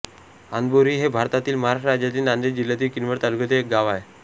आंधबोरी हे भारताच्या महाराष्ट्र राज्यातील नांदेड जिल्ह्यातील किनवट तालुक्यातील एक गाव आहे